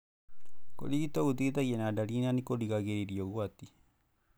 Kũrigito gũteithagia na dariri na nĩkũrigagĩrĩria ũgwati.